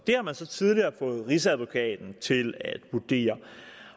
har man så tidligere fået rigsadvokaten til at vurdere